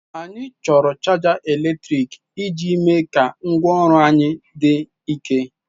Anyị chọrọ chaja eletrik iji mee ka ngwaọrụ anyị dị ike.